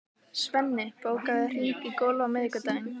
Svenni, bókaðu hring í golf á miðvikudaginn.